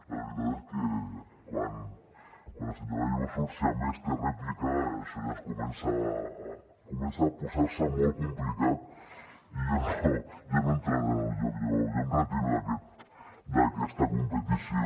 la veritat és que quan el senyor gallego surt si a més té rèplica això ja es comença a posar molt complicat i jo no entraré en el joc jo em retiro d’aquesta competició